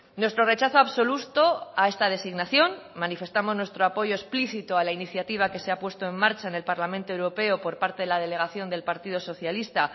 nuestro rechazo absoluto a esta designación manifestamos nuestro apoyo explícito a la iniciativa que se ha puesto en marcha en el parlamento europeo por parte de la delegación del partido socialista